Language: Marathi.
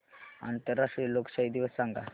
आंतरराष्ट्रीय लोकशाही दिवस सांगा